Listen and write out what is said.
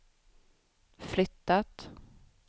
flyttat